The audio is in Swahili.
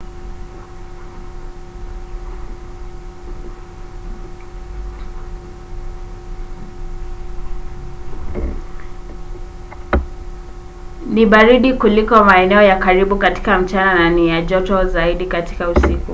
"ni baridi kuliko maeneo ya karibu katika mchana na ni ya joto zaidi katika usiku